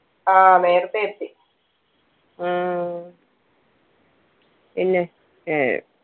ആ നേരത്തെ എത്തി ഉം പിന്നെ ഏർ